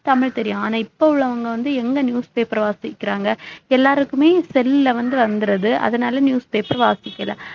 தமிழ் தெரியும் ஆனா இப்ப உள்ளவங்க வந்து எங்க newspaper வாசிக்கிறாங்க எல்லாருக்குமே cell ல வந்து வந்திருது அதனால newspaper வாசிக்கல